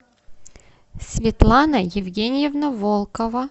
светлана евгеньевна волкова